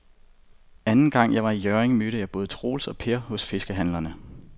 Anden gang jeg var i Hjørring, mødte jeg både Troels og Per hos fiskehandlerne.